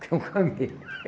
Tem um camelo.